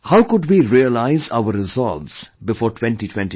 How could we realize our resolves before 2022